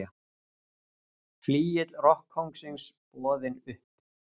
Flygill rokkkóngsins boðinn upp